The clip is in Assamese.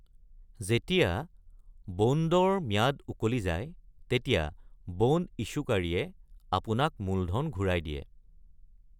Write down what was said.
যেতিয়া বণ্ডৰ ম্যাদ উকলি যায়, তেতিয়া বণ্ড ইছ্যুকাৰীয়ে আপোনাক মূলধন ঘূৰাই দিয়ে।